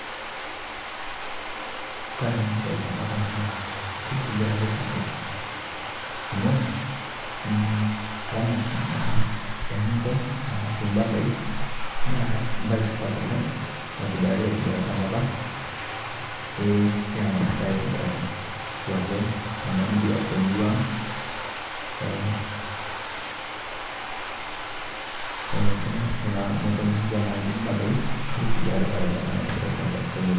Kore ana siai to nkopang naa keitebikita ake, amu ramaat naa emonton tana sii mbaatai. Naa baye supaat oleng naitibiraki atibiraki te=o nkopang. Eeh keramatitai atibiraki duake tana murua to murua ang, eeh, eeh kuna kuna moontoni naaji mbaatai keitibirakita oleng ana siai to murua.